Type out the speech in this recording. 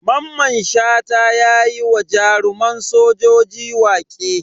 Maman Shata yayi wa jaruman sojoji waƙe.